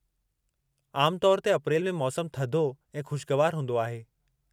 आमु तौर ते, अप्रैल में मौसमु थधो ऐं ख़ुशगवारु हूंदो आहे।